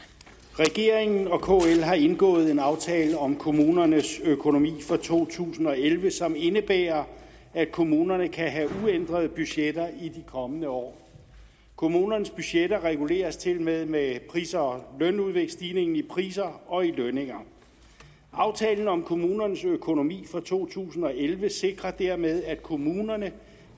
regeringen og kl har indgået en aftale om kommunernes økonomi for to tusind og elleve som indebærer at kommunerne kan have uændrede budgetter i de kommende år kommunernes budgetter reguleres tilmed med pris og lønudviklingsstigningen i priser og i lønninger aftalen om kommunernes økonomi for to tusind og elleve sikrer dermed at kommunerne